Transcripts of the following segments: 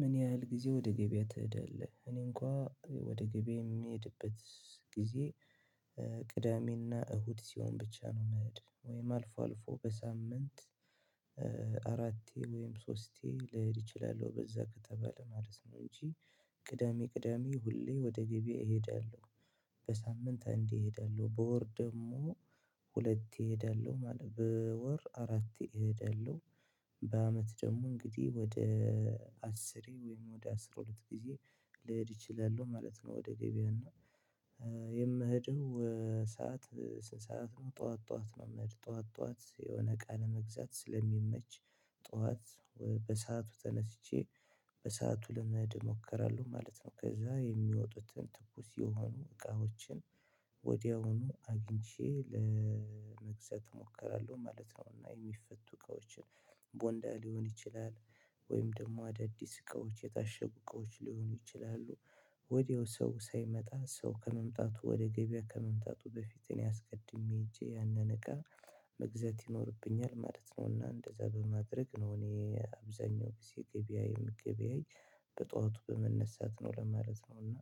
ምን ያህል ጊዜ ወደ ገበያ ትሄዳለህ? እኔ እንኳ ወደ ገበያ የምሄድበት ጊዜ ቅዳሜና እሁድ ሲሆን ብቻ ነው ምሄድ። ወይም አልፎ አልፎ በሳምንት አራቴ ወይም ሶስቴ ልሄድ እችላለሁ በዛ ከተባለ ማለት ነው እንጂ ቅዳሜ ቅዳሜ ሁሌ ወደ ገበያ እሄዳለዉ። በሳምንት እንዲህ እሄዳለሁ በወር ደግሞ ሁለት እሄዳለሁ ማለት በወር አራት እሄዳለሁ በአመት ደግሞ እንግዲህ ወደ አስሬ ወይም ወደ አስራ ሁለት ጊዜ ልሄድ እችላለሁ ማለት ነው ወደ ገበያ እና የምሄደው ሰዓት ስንት ሰዓት ነው? ጡዋት ጡዋት ነው ምሄድ ጡዋት ጡዋት የሆነ አቃ ለመግዛት ስለሚመች ጡዋት በሰአቱ ተነስቼ በሰአቱ ለመሄድ እሞክራለው ማለት ነው። ከዛ የሚወጡትን ትኩስ የሆኑ እቃዎችን ወዲያውኑ አግኝቼ ለመግዛት እሞክራለሁ ማለት ነው። እና የሚፈቱ እቃዎችን ቦንዳ ሊሆን ይችላል ወይም ደግሞ አዳዲስ እቃዎች የታሸጉ እቃዎች ሊሆኑ ይችላሉ። ወዲያው ሰው ሳይመጣ ሰው ከመምጣቱ ወደ ገበያ ከመምጣቱ በፊት እኔ አስቀድሜ ሄጄ ያንን እቃ መግዛት ይኖርብኛል ማለት ነው። አና እንደዛ በማድረግ ነው እኔ አብዛኛው ጊዜ ገበያ ይምገበያይ በጧቱ በመነሳት ነው ለማለት ነው እና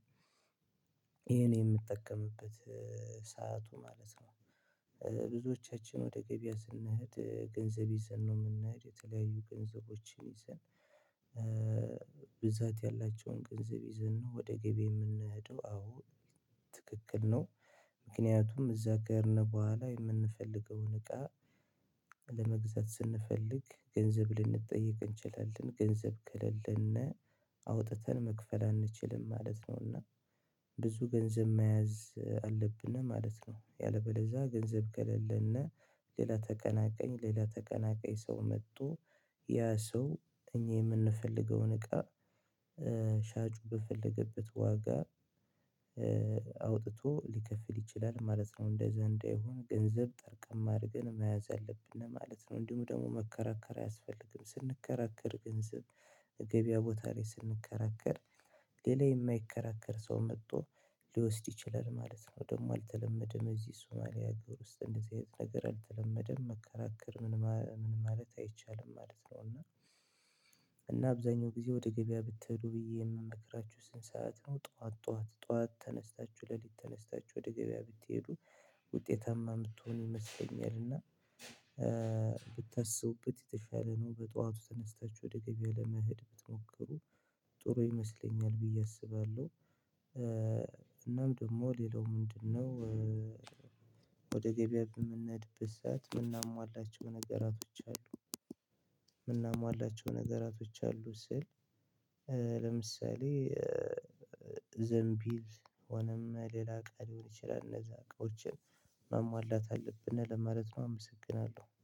ይሄን የምጠቀምበት ሰዓቱ ማለት ነው። ብዙዎቻችን ወደ ገበያ ስንሄድ ገንዘብ ይዘን ነው የምንሄድ የተለያዩ ገንዘቦችን ይዘን ብዛት ያላቸውን ገንዘብ ይዘን ነው ወደ ገበያ የምንሄደው አዎ ትክክል ነው። ምክንያቱም እዛ ጋር ነው ቦኋላ የምንፈልገውን እቃ ለመግዛት ስንፈልግ ገንዘብ ልንጠየቅ እንችላለን። ገንዘብ ከሌለን አውጥተን መክፈል አንችልም ማለት ነው። አና ብዙ ገንዘብ መያዝ አለብን ማለት ነው። ያለበለዛ ገንዘብ ከሌሌና ሌላ ተቀናቃኝ ሌላ ተቀናቃኝ ሰው መጡ ያ ሰው እኛ የምንፈልገውን እቃ ሻጩ በፈለገበት ዋጋ አውጥቶ ሊከፍል ይችላል ማለት ነው። እንደዚ አንዳይሆን ገንዘብ ጠርቀም አርገን መያዝ አለብን ማለት ነው። እንዲሁም ደግሞ መከራከር አያስፈልግም ስንከራከር ገንዘብ ገበያ ቦታ ላይ ስንከራከር ሌላ የማይከራከር ሰው መጥቶ ሊወስድ ይችላል ማለት ነው። ደግሞ አልተለመደም እዚህ ሱማሊያ ሀገር ውስጥ እንደዚህ አይነት ነገር አልተለመደም መከራከር ምን ማለት አይቻልም ማለት ነው እና እና አብዛኛው ጊዜ ወደ ገበያ ብትሄዱ ብዬ የምመክራችሁ ስንት ሰዓት ነው ጡዋት ጡዋት ጡዋት ተነስታችሁ ለሊት ተነስታችሁ ወደ ገበያ ብትሄዱ ውጤታማ የምትሆኑ ይመስለኛል እና ብታስቡበት የተሻለ ነው በጧቱ ተነስታችሁ ወደ ገበያ ለመሄድ ብትሞክሩ ጥሩ ይመስለኛል ብዬ አስባለው። እናም ደግሞ ሌላው ምንድነው? ወደ ገበያ በምንሄድበት ሰዓት የምናሟላቸው ነገራቶች አሉ። የምናሟላቸው ነገራቶች አሉ ስል ለምሳሌ ዘንቢል ሆነም ሌላ እቃ ሊሆን ይችላል እነዛ አቃዎችን ማሟላት አለብን ለማለት ነው አመሰግናለው።